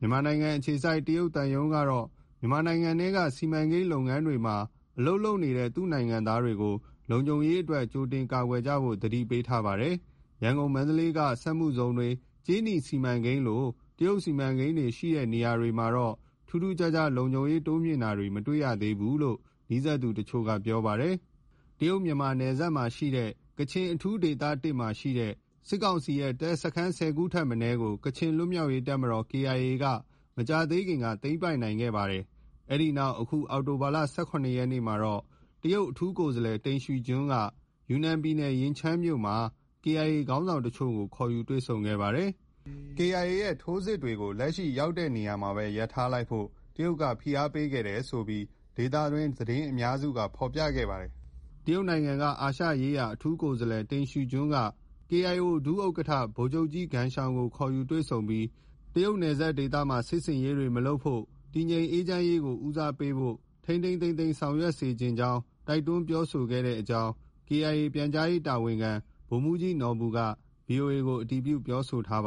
မြန်မာနိုင်ငံအခြေစိုက်တရုတ်သံရုံးကတော့ မြန်မာနိုင်ငံထဲက စီမံကိန်း လုပ်ငန်းတွေမှာ အလုပ်လုပ်နေတဲ့ သူ့နိုင်ငံသားတွေကို လုံခြုံရေးအတွက် ကြိုတင်ကာကွယ်ကြဖို့ သတိပေးထားပါတယ်။ ရန်ကုန်၊ မန္တလေးက စက်မှုဇုံတွေ၊ ကြေးနီစီမံကိန်းလို တရုတ်စီမံကိန်းတွေ ရှိတဲ့နေရာတွေမှာတော့ ထူးထူးခြားခြား လုံခြုံရေး တိုးမြှင့်တာတွေ မတွေ့ရသေးဘူးလို့ နီးစပ်သူတချို့က ပြောပါတယ်။ တရုတ်-မြန်မာ နယ်စပ်က ကချင် အထူးဒေသ မှာရှိတဲ့ စစ်ကောင်စီရဲ့ တပ်စခန်း၁၀ခုထက်မနည်းကို ကချင် လွတ်မြောက်ရေးတပ်မတော် KIA က မကြာသေးခင်က သိမ်းပိုက်နိုင်ခဲ့ပါတယ်။ အဲဒီနောက် အခု အောက်တိုဘာလ၊ ၁၇ရက်မှာ တရုတ် အထူးကိုယ်စားလှယ် တိန့်ရှီကျွင်းက ယူနန်ပြည်နယ်၊ ရင်ချန်းမြို့မှာ KIA ခေါင်းဆောင်တချို့ကို ခေါ်ယူတွေ့ဆုံခဲ့ပါတယ်။ "KIA ရဲ့ထိုးစစ်တွေကို လက်ရှိရောက်နေတဲ့ နေရာမှာ ရပ်ထားလိုက်ဖို့" တရုတ်က ဖိအားပေးခဲ့တယ်ဆိုပြီး ဒေသတွင်းသတင်းအများစုက ဖော်ပြခဲ့တာပါ။ တရုတ်နိုင်ငံက အာရှရေးရာအထူးကိုယ်စားလှယ် တိန့်ရှီကျွင်းက KIO ဒုဥက္ကဌ ဗိုလ်ချုပ်ကြီး ဂမ်ရှောင်ကို ခေါ်ယူတွေ့ဆုံပြီး တရုတ်နယ်စပ်ဒေသမှာ စစ်ဆင်ရေးတွေ မလုပ်ဖို့ တည်ငြိမ်အေးချမ်းရေးကို ဦးစားပေးဖို့၊ထိန်းထိန်းသိမ်းသိမ်းဆောင်ရွက်စေချင်ကြောင်း တိုက်တွန်းပြောဆိုခဲ့ကြောင်း KIA ပြန်ကြားရေးတာဝန်ခံ ဗိုလ်မှုးကြီးနော်ဘူက VOA ကို အတည်ပြုပြောဆိုထားပါ